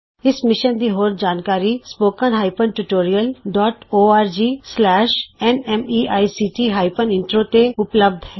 ਇਸ ਮਿਸ਼ਨ ਦੀ ਹੋਰ ਜਾਣਕਾਰੀ spoken hyphen tutorial dot O R G slash N M E I C T hyphen intro ਤੇ ਉਪਲੱਭਧ ਹੈ